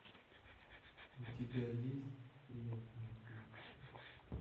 у тебя есть приятные хлопоты